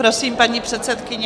Prosím, paní předsedkyně.